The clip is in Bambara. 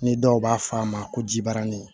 Ni dɔw b'a fɔ a ma ko jibaranin